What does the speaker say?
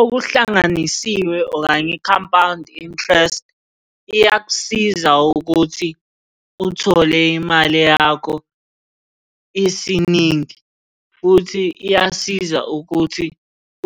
Okuhlanganisiwe okanye i-compound interest, iyakusiza ukuthi uthole imali yakho isiningi, futhi iyasiza ukuthi